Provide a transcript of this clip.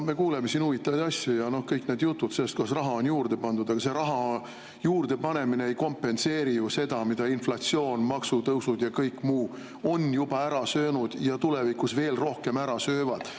Me kuuleme siin huvitavaid asju ja kõiki neid jutte sellest, kuidas raha on juurde pandud, aga see raha juurdepanemine ei kompenseeri ju seda, mida inflatsioon, maksutõusud ja kõik muu on juba ära söönud ja mida nad tulevikus veel rohkem ära söövad.